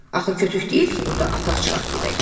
Axı kütük deyil ki, burda atağ çıxaq gedək.